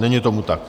Není tomu tak.